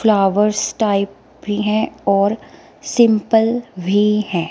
Flowers type भी है और सिंपल भी है।